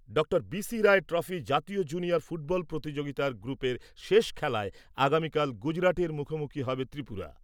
ডঃ B C Roy trophy জাতীয় junior football প্রতিযোগিতার গ্রুপের শেষ খেলায় আগামীকাল গুজরাটের মুখোমুখি হবে ত্রিপুরা ।